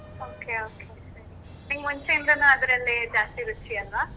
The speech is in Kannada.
Okay okay ಸರಿ. ನಿಂಗ್ ಮುಂಚೆಯಿಂದನು ಅದ್ರಲ್ಲೇ ಜಾಸ್ತಿ ರುಚಿ ಅಲ್ವಾ?